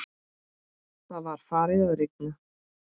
Það var farið að rigna.